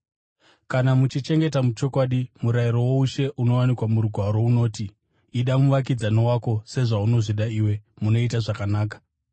Kana muchichengeta muchokwadi murayiro woushe unowanikwa muRugwaro, unoti: “Ida muvakidzani wako sezvaunozvida iwe,” munoita zvakanaka.